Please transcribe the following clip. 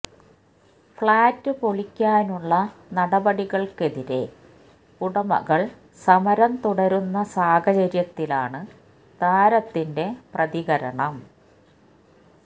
flat പൊളിക്കാനുള്ള നടപടികള്ക്കെതിരെ ഉടമകള് സമരം തുടരുന്ന സാഹചര്യത്തിലാണ് താരത്തിന്റെ പ്രതികരണം